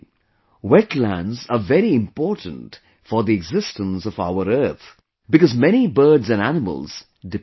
Wetlands are very important for the existence of our earth, because many birds and animals depend on them